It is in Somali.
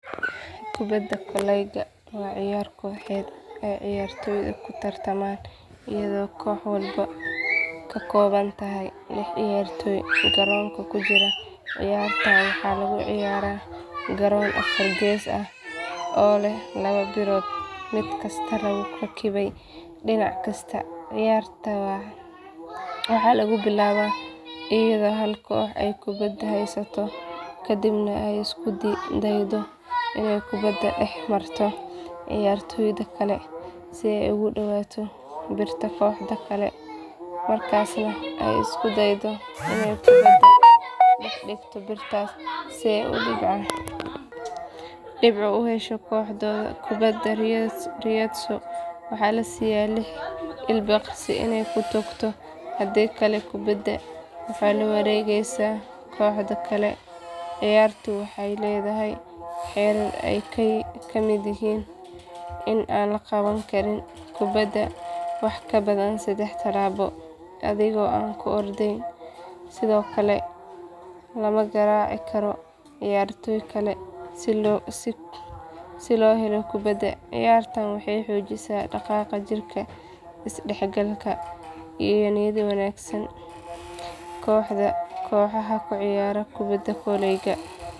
Kubadda kolayga waa ciyaar kooxeed ay ciyaartoydu ku tartamaan iyadoo koox walba ka koobantahay lix ciyaartoy garoonka ku jira ciyaartan waxaa lagu ciyaaraa garoon afar gees ah oo leh laba birood mid kasta lagu rakibay dhinac kasta ciyaarta waxaa lagu bilaabaa iyadoo hal koox ay kubadda haysato kadibna ay isku daydo inay kubadda dhex marto ciyaartoyda kale si ay ugu dhawaato birta kooxda kale markaasna ay isku daydo inay kubadda dhex dhigto birtaas si ay dhibco u hesho kooxda kubadda ridayso waxaa la siyaa lix ilbiriqsi inay ku toogto haddii kale kubadda waxaa la wareegaysa kooxda kale ciyaartu waxay leedahay xeerar ay ka mid yihiin in aan la qaban karin kubadda wax ka badan sadex talaabo adigoo aan ku ordayn sidoo kale lama garaaci karo ciyaartoy kale si loo helo kubadda ciyaartan waxay xoojisaa dhaqaaqa jirka isdhexgalka iyo niyad wanaagga kooxaha ku ciyaara kubadda kolayga.